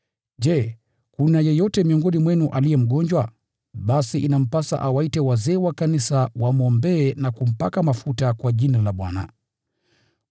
Je, kuna yeyote miongoni mwenu aliye mgonjwa? Basi inampasa awaite wazee wa kanisa wamwombee na kumpaka mafuta kwa Jina la Bwana.